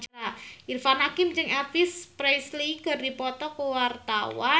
Irfan Hakim jeung Elvis Presley keur dipoto ku wartawan